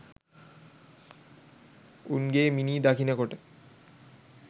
උන් ගේ මිනී දකිනකොට